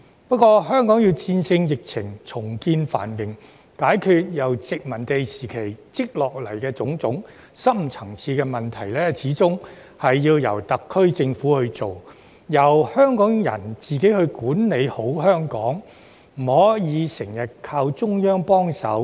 不過，香港要戰勝疫情、重見繁榮，解決由殖民時期累積下來的種種深層次問題，始終要由特區政府去做，並由香港人自己管理好香港，不可以經常依靠中央幫忙。